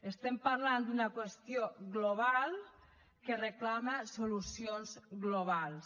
estem parlant d’una qüestió global que reclama solucions globals